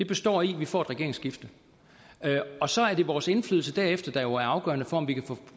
består i at vi får et regeringsskifte og så er det vores indflydelse derefter der er afgørende for om vi kan få